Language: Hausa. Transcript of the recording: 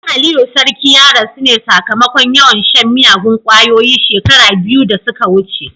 Dan Aliyu sarki ya rasu ne sakamakon yawan shan miyagun kwayoyi shekaru biyu da suka wuce.